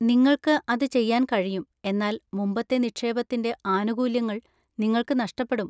നിങ്ങൾക്ക് അത് ചെയ്യാൻ കഴിയും, എന്നാൽ മുമ്പത്തെ നിക്ഷേപത്തിന്‍റെ ആനുകൂല്യങ്ങൾ നിങ്ങൾക്ക് നഷ്ടപ്പെടും.